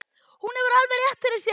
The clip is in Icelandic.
Hún hefur alveg rétt fyrir sér.